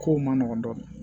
Kow man nɔgɔn dɔɔnin